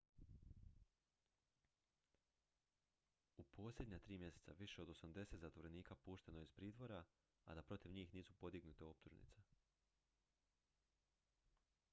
u posljednja 3 mjeseca više od 80 zatvorenika pušteno je iz pritvora a da protiv njih nisu podignute optužnice